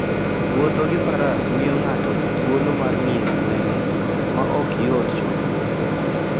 Wuotho gi Faras miyo ng'ato thuolo mar ng'iyo gwenge ma ok yot chopoe.